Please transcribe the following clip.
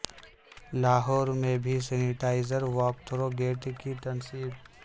لاہور میں بھی sanitizer walk through gate کی تنصیب